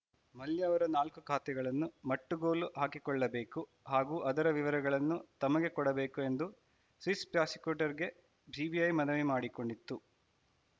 ಮಲ್ಯ ಅವರ ನಾಲ್ಕು ಖಾತೆಗಳನ್ನು ಮಟ್ಟುಗೋಲು ಹಾಕಿಕೊಳ್ಳಬೇಕು ಹಾಗೂ ಅದರ ವಿವರಗಳನ್ನು ತಮಗೆ ಕೊಡಬೇಕು ಎಂದು ಸ್ವಿಸ್‌ ಪ್ರಾಸಿಕ್ಯೂಟರ್‌ಗೆ ಜಿಬಿಐ ಮನವಿ ಮಾಡಿಕೊಂಡಿತ್ತು